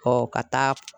Ɔ ka taa